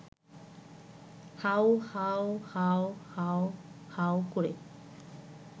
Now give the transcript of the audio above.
how- হাউ-হাউ-হাউ-হাউ ক’রে